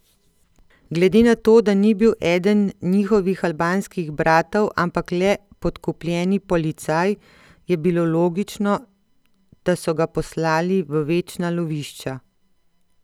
Glede na to, da ni bil eden njihovih albanskih bratov, ampak le podkupljeni policaj, je bilo logično, da so ga poslali v večna lovišča.